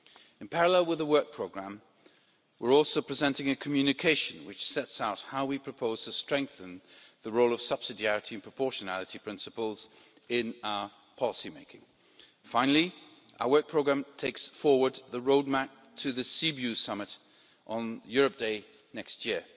In parallel with the work programme, we are also presenting a Communication which sets out how we propose to strengthen the role of subsidiarity and proportionality principles in our policymaking. Finally, our work programme takes forward the roadmap to the Sibiu Summit on Europe Day next year.